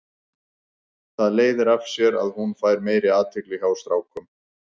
Það leiðir af sér að hún fær meiri athygli hjá strákum.